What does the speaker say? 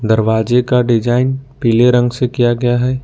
दरवाजे का डिजाइन पीले रंग से किया गया है।